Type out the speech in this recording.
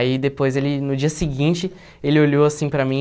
Aí depois, ele no dia seguinte, ele olhou assim para mim